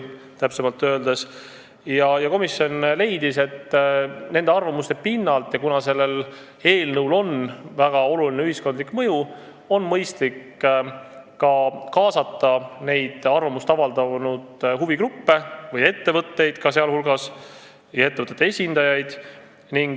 Kuna sellel eelnõul on väga suur ühiskondlik mõju, leidis komisjon neid arvamusi läbi vaadates, et mõistlik on kaasata ka arvamust avaldanud huvigruppe, sh ettevõtete esindajaid.